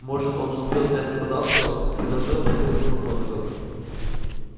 может он успел снять нападавшего предположила профессор макгонагалл